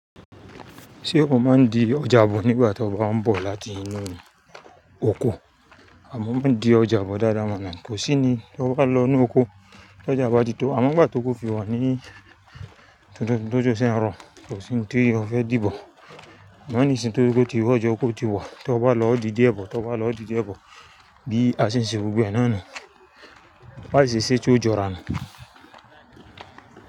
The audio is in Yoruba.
Ṣé ò máa ń di ọjà bọ̀ nígbà tí o bá ń bọ̀ láti inú oko? A, mọ máa ń di ọjà bọ̀ dáadáa mọ́ ná. Kò sí ni tọ bá lọ inú oko, t'ọ́jọ bá ti tó, àmọ́ ngbà tí óko fi wa ní, tí òjò sìn rọ, kò sí n tí ó fẹ́ dìbọ̀. Àmọ́ ní ìsìn tó jẹ po tí ọjá okó ti wa, tọ bá lọ ọ́ di díẹ̀ bọ̀, tọ bá lọ ọ́ di díẹ̀ bọ̀, bí a ṣe ń ṣe gbogbo náà ni. Básìí ṣèṣe tí ó jọ rà nu.